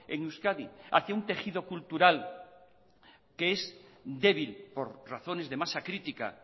en euskadi hacia un tejido cultural que es débil por razones de masa crítica